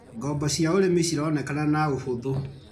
Ngombo cia ũrĩmi cironekana na ũhũthũ.